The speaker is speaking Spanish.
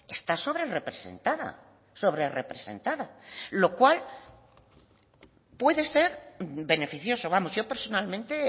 está sobrerrepresentada sobrerrepresentada lo cual puede ser beneficioso vamos yo personalmente